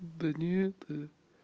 да не это